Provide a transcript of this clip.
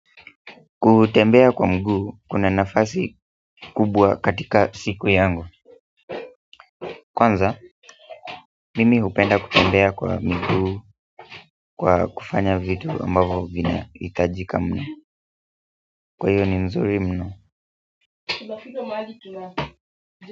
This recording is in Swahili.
Kutembea kwa mguu kuna nafasi kubwa katika siku yangu kwanza, mimi hupenda kutembea kwa miguu kwa kufanya vitu ambavyo vinahitajika kwa hiyo ni mzuri mno.